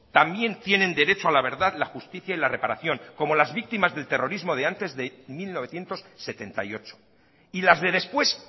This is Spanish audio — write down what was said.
también tienen derecho a la verdad la justicia y la reparación como las víctimas del terrorismo de antes de mil novecientos setenta y ocho y las de después